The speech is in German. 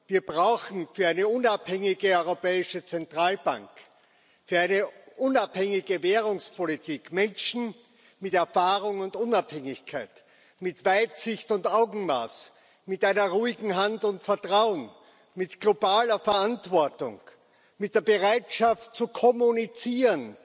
Wir brauchen für eine unabhängige Europäische Zentralbank, für eine unabhängige Währungspolitik, Menschen mit Erfahrung und Unabhängigkeit, mit Weitsicht und Augenmaß, mit einer ruhigen Hand und Vertrauen, mit globaler Verantwortung, mit der Bereitschaft, zu kommunizieren,